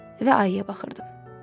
Və ayıya baxırdım.